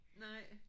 Nej